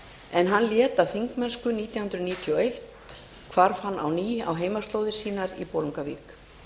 er hann lét af þingmennsku nítján hundruð níutíu og eitt hvarf hann á ný á heimaslóðir sínar í bolungarvík